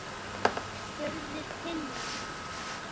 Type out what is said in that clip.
spurði Tinna.